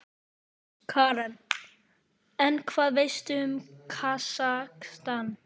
Karen: En hvað veistu um Kasakstan?